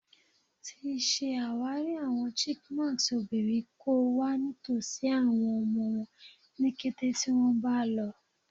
Ti ṣe awari awọn chipmunks obinrin ko wa nitosi awọn ọmọ wọn ni kete ti wọn ba lọ